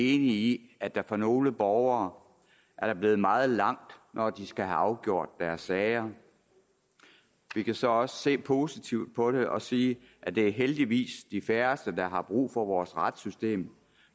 i at der for nogle borgere er blevet meget langt når de skal have afgjort deres sager vi kan så også se positivt på det og sige at det heldigvis er de færreste der har brug for vores retssystem